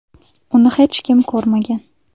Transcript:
Uni hech kim ko‘rmagan.